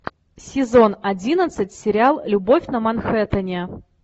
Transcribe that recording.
сезон одиннадцать сериал любовь на манхэттене